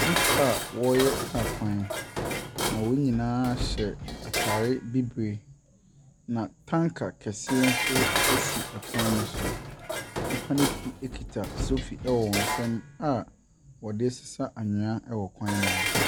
Nnipa a wɔreyɛ kaa kwan, na wɔn nyinaa hyɛ ataare bibire, na tanker kɛseɛ nso si kwan ne so. Nnipa ne bi kita sofi wɔ wɔn nsamu a wɔde ɛresa anwea wɔ kwan ne ho.